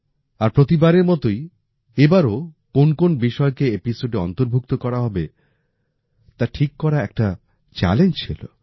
আর প্রতিবারের মতোই এবারও কোন্ কোন্ বিষয়কে এপিসোডে অন্তর্ভুক্ত করা হবে তা ঠিক করা একটা চ্যালেঞ্জ ছিল